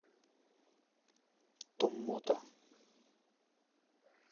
томмота